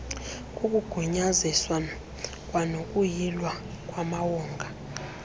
kukugunyaziswa kwanokuyilwa kwamawonga